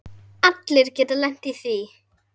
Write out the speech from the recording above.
Allir geta lent í því.